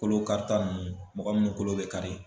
Kolo karita nunnu mɔgɔ munnu kolo be kari